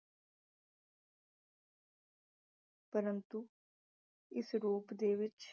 ਪ੍ਰੰਤੂ ਇਸ ਰੂਪ ਦੇ ਵਿੱਚ